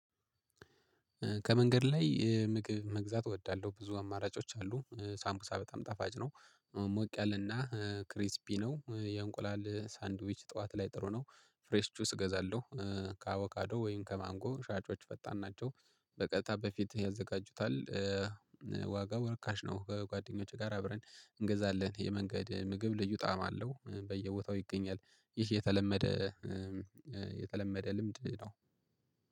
ከመንገድ ላይ ምግብ መግዛት እወዳለሁ ብዙ አማራጮች አሉ ሳምቡሳ በጣም ጠፋጭ ነው። ሞቅ ያለና ክሪስፒ ነው የእንቁላል ሳንድዊች ጠዋት ላይ ጥሩ ነው። ፍሬስ ጁስ እገዛለሁ። ከአብካዶ ወይም ከማንጎ ሻጮች ፈጣን ናቸው በቀጥታ በፊት ያዘጋጁታል። ዋጋው ርካሽ ነው ከጓደኞቼ ጋር አብረን እንገዛለን። የመንገድ ምግብ ልዩ ጣዕም አለው በየቦታው ይገኛል። ይህ የተለመደ የተለመደ ልምድ ነው።